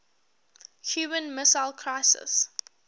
cuban missile crisis